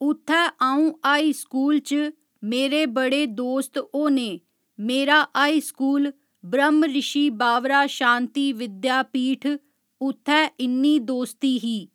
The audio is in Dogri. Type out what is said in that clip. उत्थै अ'ऊं हाई स्कूल च मेरे बड़े दोस्त होने मेरा हाई स्कूल ब्रहमऋशि बावरा शांति विद्यापीठ उत्थै इ'न्नी दोस्ती ही